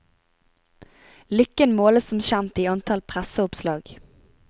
Lykken måles som kjent i antall presseoppslag.